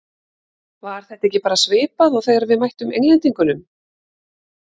Var þetta ekki bara svipað og þegar við mættum Englendingunum?